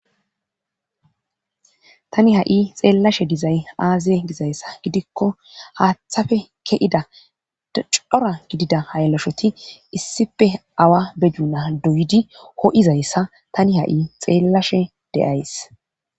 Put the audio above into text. tani ha7i xeellashe dizay aaze gizayssa gidikko haaththafe ke7ida cora gidida hayilashoti issippe awa be duuna duyidi ho7izayssa tani ha7i xeellashe de7ays.